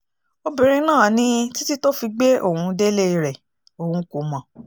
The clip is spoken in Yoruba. obìnrin náà ní títì tó fi gbé òun délé rẹ̀ òun kò mọ̀